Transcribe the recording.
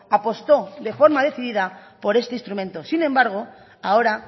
apostó de forma decidida por este instrumento sin embargo ahora